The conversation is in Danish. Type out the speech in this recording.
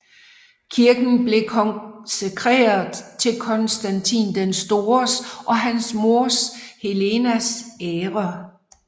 Kirken blev konsekreret til Konstantin den Stores og hans moder Helenas ære